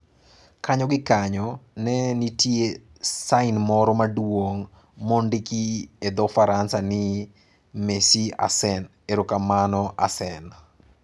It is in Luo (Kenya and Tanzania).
Kanyo gi kanyo, ne nitie sain moro maduong' mondiki e dho Faransa ni, "Merci Arsene" (Erokamano Arsene).